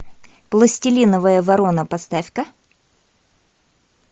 пластилиновая ворона поставь ка